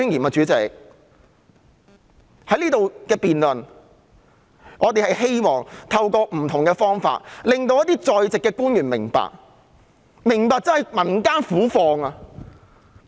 在這裏進行的辯論中，我們希望透過不同方法令一些在席官員明白民間苦況。